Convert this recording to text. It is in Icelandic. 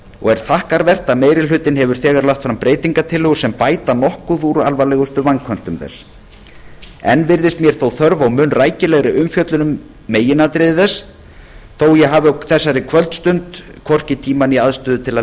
og er þakkarvert að meirihlutinn hefur þegar lagt fram breytingartillögur sem bæta nokkuð úr alvarlegustu vanköntum þess enn virðist mér þó þörf á mun rækilegri umfjöllun um meginatriði þess þótt ég hafi á þessari kvöldstund hvorki tíma né aðstöðu til